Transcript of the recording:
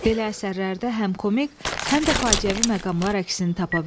Belə əsərlərdə həm komik, həm də faciəvi məqamlar əksini tapa bilir.